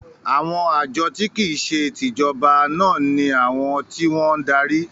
“ Àwọn àjọ tí kìí se tìjọba” náà ní àwọn tí wọ́n ń darí.